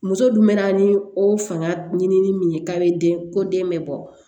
Muso dun bɛ na ni o fanga ɲinini ye k'a bɛ den ko den bɛ bɔ